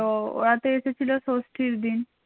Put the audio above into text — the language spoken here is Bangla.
হুম তো ওরা তো এসেছিল ষষ্ঠীর দিন